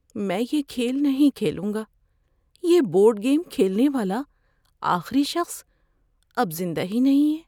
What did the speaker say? میں یہ کھیل نہیں کھیلوں گا۔ یہ بورڈ گیم کھیلنے والا آخری شخص اب زندہ ہی نہیں ہے۔